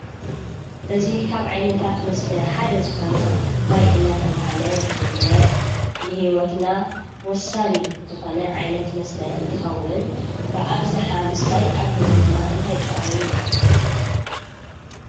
እዚ ካብ ዓይነታት መስተ ሓደ ዝኾነ ማይ እናተባህለ ዝፍለጥ ንህይወትና ወሳኒ ዝኾነ ዓይነት መስተ እንትኸውን ብኣብዝሓ ምስታይ ኣብ ህይወትና እንታይ ጥቕሚ ንረኽበሉ?